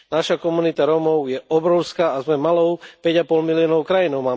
Naša komunita Rómov je obrovská a sme malou päť a pol miliónovou krajinou.